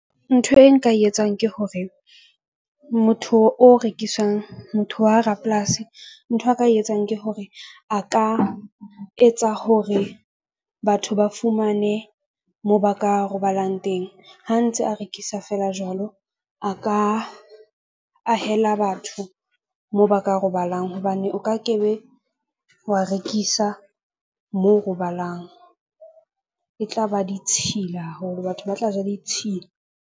Ntho e nka e etsang ke hore motho o rekiswang motho wa rapolasi ntho a ka e etsang ke hore a ka etsa hore batho ba fumane moo ba ka robalang teng. Ha ntse a rekisa feela jwalo, a ka ahela batho moo ba ka robalang hobane o ka ke be wa rekisa moo robalang e tla ba ditshila haholo, batho ba tla ja ditshila.